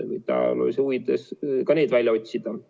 Ajaloolise tõe huvides võiks ka need välja otsida.